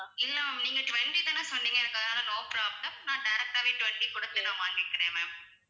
இல்ல ma'am நீங்க twenty தான சொன்னிங்க எனக்கு அதனால no problem நான் direct ஆவே twenty குடுத்து நான் வாங்கிக்கிறேன் ma'am